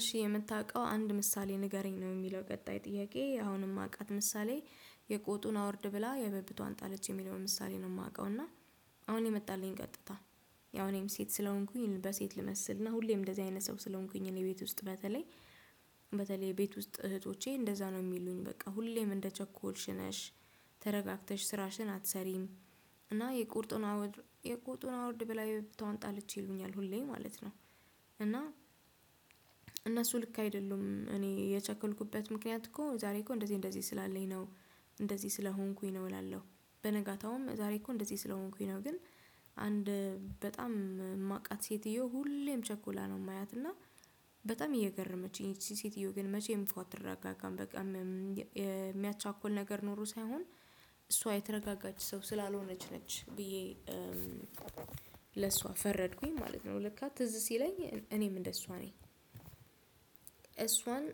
እሺ የምታውቀው አንድ ምሳሌ ንገረኝ ነው የሚለው ቀጣይ ጥያቄ አሁን የማውቃት ምሳሌ የቆጡን አውርድ ብላ የብብቷን ጣለች የሚለውን ምሳሌ ነው የማውቀው። እና አሁን የመጣልኝ ቀጥታ። ያው እኔም ሴት ስለሆንኩኝ በሴት ልመስልና ሁሌም እንደዚህ አይነት ሰው ስለሆንኩኝ እኔ ቤት ውስጥ በተለይ በተለይ ቤት ውስጥ እህቶቼ እንደዛ ነው የሚሉኝ በቃ ሁሌም እንደቸኮልሽ ነሽ ተረጋግተሽ ስራሽን አትሰሪም። እና የቆጡን አውርድ የቆጡን አውርድ ብላ የብብቷን ጣለች ይሉኛል ሁሌም ማለት ነው። እና እነሱ ልክ አይደሉም እኔ የቸኮልኩበት ምክንያት እኮ ዛሬ እኮ እንደዚህ እንደዚህ ስላለኝ ነው። እንደዚህ ስለሆንኩኝ ነው እላለሁ። በነጋታውም ዛሬ እኮ እንደዚህ ስለሆንኩኝ ነው ግን። አንድ በጣም የማቃት ሴትዮ ሁሌም ቸኩላ ነው የማያትና በጣም እየገረመችኝ ይቺ ሴትዮ ግን መቼም እፎይ አትል አትረጋጋም በቃ። የሚያቻኩል ነገር ኖሮ ሳይሆን እሷ አይተረጋጋች ሰው ስላልሆነች ነች ብዬ። ለሷ ፈረድኩኝ ማለት ነው። ለካ ትዝ ሲለኝ እኔም እንደሷ ነኝ እሷን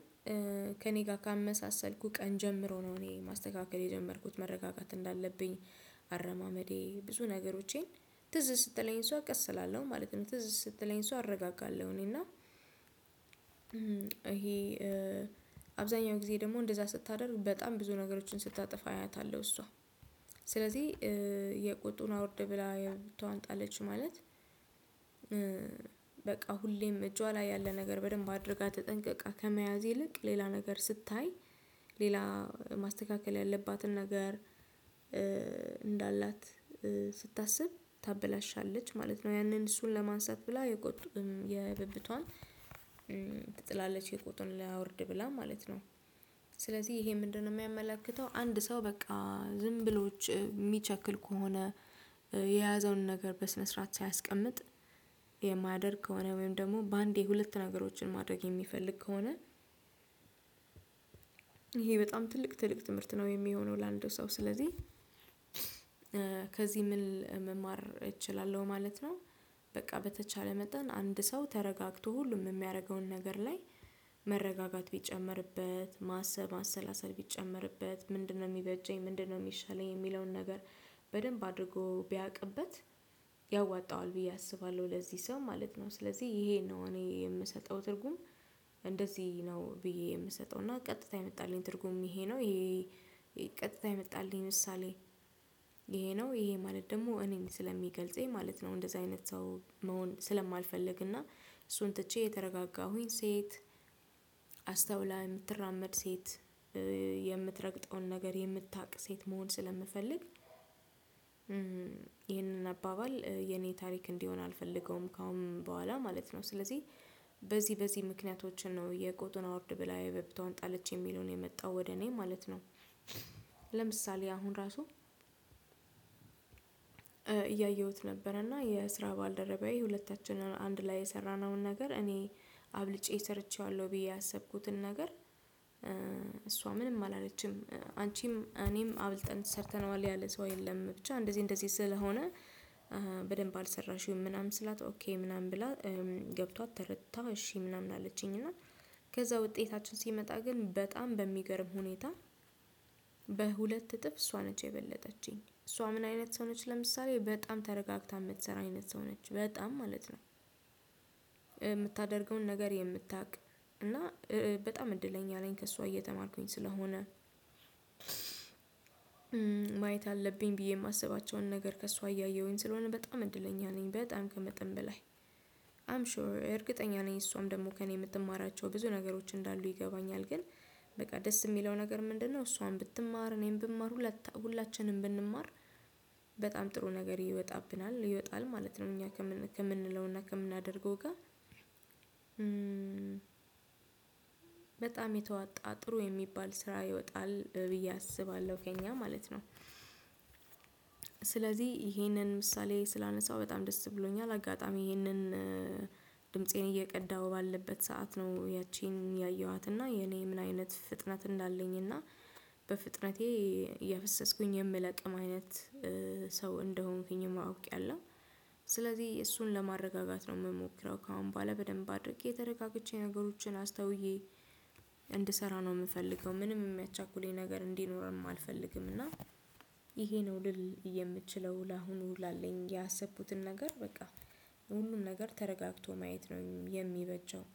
ከእኔ ጋር ካመሳሰልኩ ቀን ጀምሮ ነው እኔ መስተካከል የጀመርኩት መረጋጋት እንዳለብኝ። አረማመዴ ብዙ ነገሮቼን ትዝ ስትለኝ እሷ ቀስ እላለሁ ማለት ነው። ትዝ ስትለኝ እሷ አረጋጋለሁ እኔ እና። ይሄ አብዛኛው ጊዜ ደግሞ እንደዛ ስታደርግ በጣም ብዙ ነገሮችን ስታጠፋ አያታለሁ እሷ። ስለዚህ የቆጡን አወርድ ብላ የብብቷን ጣለች ማለት። በቃ ሁሌም እጇ ላይ ያለ ነገር በደንብ አድርጋ ትጠንቅቃ ከመያዝ ይልቅ ሌላ ነገር ስታይ። ሌላ ማስተካከል ያለባትን ነገር እንዳላት ስታስብ ታበላሻለች ማለት ነው። ያንን እሱን ለማንሳት ብላ የብብቷን ትጥላለች የቆጡን ላውርድ ብላ ማለት ነው። ስለዚህ ይሄ ምንድነው? የሚያመላክተው አንድ ሰው በቃ ዝም ብሎች የሚቸኩል ከሆነ። የያዘውን ነገር በስነ ስርዓት ሳያስቀምጥ የማያደርግ ከሆነ ወይም ደግሞ በአንዴ ሁለት ነገሮችን ማድረግ የሚፈልግ ከሆነ። ይሄ በጣም ትልቅ ትልቅ ትምህርት ነው የሚሆነው ለአንድ ሰው ስለዚህ። ከዚህ ምን መማር እችላለሁ ማለት ነው። በቃ በተቻለ መጠን አንድ ሰው ተረጋግቶ ሁሉም የሚያደርገውን ነገር ላይ መረጋጋት ቢጨመርበት ማሰብ ማሰላሰል ቢጨመርበት ምንድነው የሚበጀኝ ምንድነው የሚሻለኝ የሚለውን ነገር። በደንብ አድርጎ ቢያቅበት ያዋጣዋል ብዬ አስባለሁ ለዚህ ሰው ማለት ነው። ስለዚህ ይሄን ነው እኔ የምሰጠው ትርጉም። እንደዚህ ነው ብዬ የምሰጠው እና ቀጥታ የመጣልኝ ትርጉም ይሄ ነው። ቀጥታ የመጣልኝ ምሳሌ። ይሄ ነው ይሄ ማለት ደግሞ እኔን ስለሚገልጸኝ ማለት ነው። እንደዚህ አይነት ሰው መሆን ስለማልፈልግና እሱን ትቼ የተረጋጋሁኝ ሴት አስተውላ የምትራመድ ሴት የምትረግጠውን ነገር የምታውቅ ሴት መሆን ስለምፈልግ። ይህንን አባባል የኔ ታሪክ እንዲሆን አልፈልገውም ከአሁን በኋላ ማለት ነው። ስለዚህ በዚህ በዚህ ምክንያቶችን ነው የቆጡን አውርድ ብላ የብብቷን ጣለች የሚሉን የመጣው ወደ እኔ ማለት ነው። ለምሳሌ አሁን ራሱ። እያየሁት ነበር እና የስራ ባልደረባዬ ሁለታችንም አንድ ላይ የሰራነውን ነገር እኔ አብልጬ ሰርቼዋለሁ ብዬ ያሰብኩትን ነገር እሷ ምንም አላለችም። አንቺም እኔም አብልጠን ሰርተነዋል ያለ ሰው የለም ብቻ እንደዚህ እንደዚህ ስለሆነ። በደንብ አልሰራሽውም ምናምን ስላት ኦኬ ምናምን ብላ ገብቷት ተረታ እሺ ምናምን አለችኝ እና። ከዛ ውጤታችን ሲመጣ ግን በጣም በሚገርም ሁኔታ በሁለት እጥፍ እሷ ነች የበለጠችኝ። እሷ ምን አይነት ሰው ነች? ለምሳሌ በጣም ተረጋግታ የምትሰራ አይነት ሰው ነች። በጣም ማለት ነው። የምታደርገውን ነገር የምታውቅ። እና በጣም እድለኛ ነኝ ከእሷ እየተማርኩኝ ስለሆነ። ማየት አለብኝ ብዬ የማስባቸውን ነገር ከእሷ እያየሁኝ ስለሆነ በጣም እድለኛ ነኝ። በጣም ከመጥን በላይ አም ሹር እርግጠኛ ነኝ እሷም ደግሞ ከእኔ የምትማራቸው ብዙ ነገሮች እንዳሉ ይገባኛል። ግን በቃ ደስ የሚለው ነገር ምንድነው? እሷም ብትማር እኔም ብማር ሁላችንም ብንማር። በጣም ጥሩ ነገር ይወጣብናል ይወጣል ማለት ነው። እኛ ከምንለውና ከምናደርገው ጋር። በጣም የተዋጣ ጥሩ የሚባል ስራ ይወጣል ብዬ አስባለሁ ከእኛ ማለት ነው። ስለዚህ ይሄንን ምሳሌ ስላነሳው በጣም ደስ ብሎኛል። አጋጣሚ ይህንን ድምፄን እየቀዳሁ ባለበት ሰዓት ነው። ያቺን ያየኋት እና የኔ ምን አይነት ፍጥነት እንዳለኝ እና። በፍጥነቴ እያፈሰስኩኝ የምለቅም አይነት ሰው እንደሆንኩኝም አውቂያለሁ። ስለዚህ እሱን ለማረጋጋት ነው የምሞክረው ከአሁን በኋላ በደንብ አድርጌ ተረጋግቼ ነገሮችን አስተውዬ እንድሰራ ነው የምፈልገው። ምንም የሚያቻኩለኝ ነገር እንዲኖርም አልፈልግም። እና። ይሄ ነው ልል የምችለው ለአሁኑ ላለኝ ያሰቡትን ነገር በቃ ሁሉን ነገር ተረጋግቶ ማየት ነው የሚበጃው